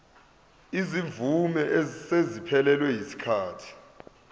izimvume eseziphelelwe yisikhathi